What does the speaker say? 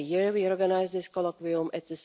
We organise this colloquium every year.